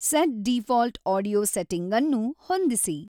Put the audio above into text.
set default audio setting ಅನ್ನು ಹೊಂದಿಸಿ